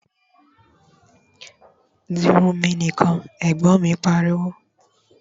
Di irun mi nìkan! Ẹ̀gbọ́n mi pariwo